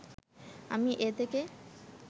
আমি এ থেকে